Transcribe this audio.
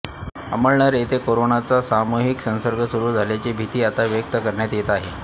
अमळनेर येथे कोरोनाचा सामूहिक संसर्ग सुरू झाल्याची भिती आता व्यक्त करण्यात येत आहे